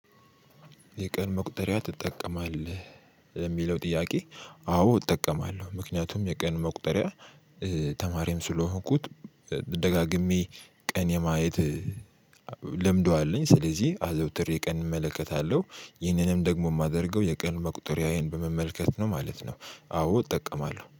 የቀን መቁጠሪያ ትጠቀማለህ ለሚለው ጥያቄ? አዎ እጠቀማለሁ ምክንያቱም የቀን መቁጠሪያ። ተማሪም ስለሆንኩት ደጋግሜ ቀን የማየት ለምድው አለኝ። ስለዚህ አዘውትሬ ቀን እመለከታለሁ ይህንንም ደግሞ ማደርገው የቀን መቁጠሪያዬን በመመልከት ነው ማለት ነው። አዎ እጠቀማለሁ